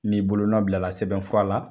Ni' bolonɔn bila sɛbɛn fura la